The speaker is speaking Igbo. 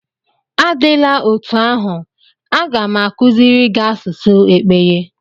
Adịla otú ahụ, a ga m akuziri gị asụsụ Ekpeye.